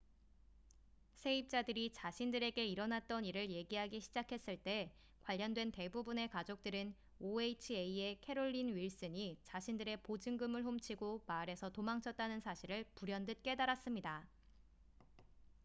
세입자들이 자신들에게 일어났던 일을 얘기하기 시작했을 때 관련된 대부분의 가족들은 oha의 캐롤린 윌슨이 자신들의 보증금을 훔치고 마을에서 도망쳤다는 사실을 불현듯 깨달았습니다